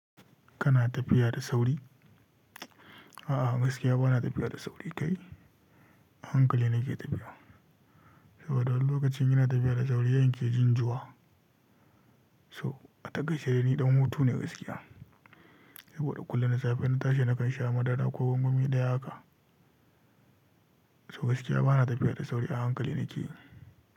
Kana tafiya da sauri? A'a, gaskiya ba na tafiya da sauri kai, a hankali nake tafiya. Saboda wani lokacin in ina tafiya da sauri yanke jin jua. So a takaice ni ɗan hutu ne gaskiya. Saboda kullum da safe na tashi nakan sha madara ko gwangwami daya haka. So gaskiya bana tafiya da sauri a hankali nake yi.